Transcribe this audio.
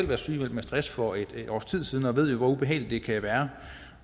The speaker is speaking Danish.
været sygemeldt med stress for et års tid siden og ved hvor ubehageligt det kan være